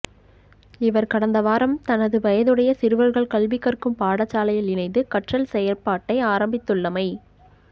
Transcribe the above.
இவர் கடந்த வாரம் தனது வயதையுடைய சிறுவர்கள் கல்விக் கற்கும் பாடசாலையில் இணைந்து கற்றல் செயற்பாட்டை ஆரம்பித்துள்ளமை